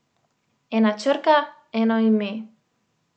Ena črka, eno ime.